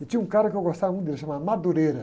E tinha um cara que eu gostava muito dele, chamava.